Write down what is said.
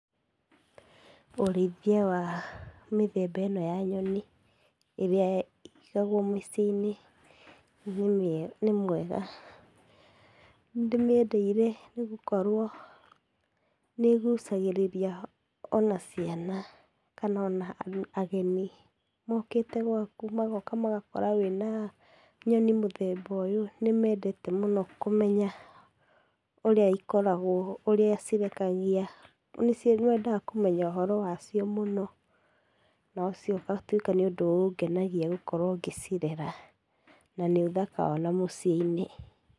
Ũrĩithia wa mĩthemaba ĩno ya nyoni, irĩa ĩigagwo mĩciinĩ nĩ mwega. Nĩndĩmĩendeire nĩgũkorwo nĩĩgucagĩrĩria ona ciana kana ona ageni mokĩte gwaku magoka magakora wĩna nyoni mũthemba ũyũ, nĩmendete mũno kũmenya ũrĩa ikoragwo, ĩrĩa cirekagia. Nimendaga kũmenya ũhoro wacio mũno nocio ũgatuĩka nĩũndũ ũngenagia gũkorwo ngĩcirera, na nĩũthaka ona mũci-inĩ.